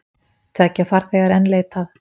Tveggja farþega er enn leitað.